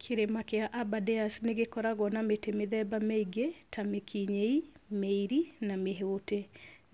Kĩrĩma kĩa Aberdares nĩgĩkoragwo na mĩtĩ mĩthemba mĩingĩ, ta mĩkinyĩi, mĩiri na mĩhũtĩ.